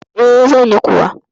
E, zan yi kuwa.